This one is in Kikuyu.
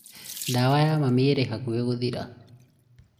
ndawa ya mami ĩrĩ hakuhĩ gũthira